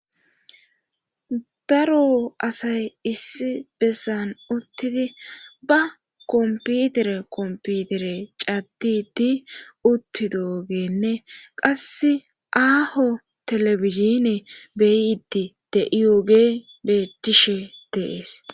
daro asay issi bessan uttidi ba komputere komputere caddidi utti doogenne qasse aaho telebizine beyiidi de7iyooge bettishe deees